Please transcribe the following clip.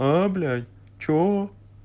а блять что